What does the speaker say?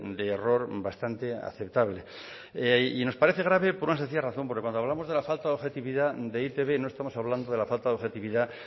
de error bastante aceptable y nos parece grave por una sencilla razón porque cuando hablamos de la falta de objetividad de e i te be no estamos hablando de la falta de objetividad